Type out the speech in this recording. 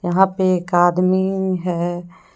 वहां पर एक आदमी है।